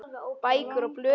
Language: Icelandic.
Bækur og blöð í hillum.